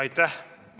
Aitäh!